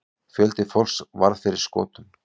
Fjöldi fólks varð fyrir skotum.